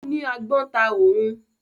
Ó ní agbọ́n ta òun.